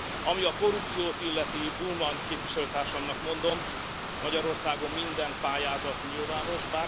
Ami a korrupciót illeti, Bullmann képviselőtársamnak mondom, Magyarországon minden pályázat nyilvános.